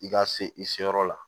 I ka se i se yɔrɔ la